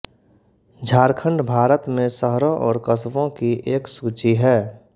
झारखण्ड भारत में शहरों और कस्बों की एक सूची है